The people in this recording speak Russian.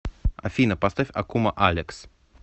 афина поставь акума алекс